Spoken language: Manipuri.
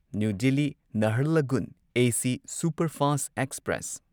ꯅ꯭ꯌꯨ ꯗꯦꯜꯂꯤ ꯅꯍꯥꯔꯂꯒꯨꯟ ꯑꯦꯁꯤ ꯁꯨꯄꯔꯐꯥꯁꯠ ꯑꯦꯛꯁꯄ꯭ꯔꯦꯁ